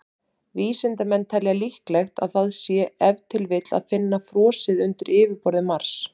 Vísindamenn telja líklegt að það sé ef til vill að finna frosið undir yfirborði Mars.